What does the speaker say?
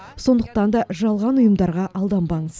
сондықтан да жалған ұйымдарға алданбаңыз